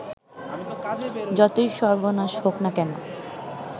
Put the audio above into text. যতই সর্ব্বনাশ হউক না কেন